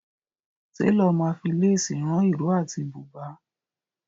Télọ̀ ma fi lésì rán ìró àti bùbà.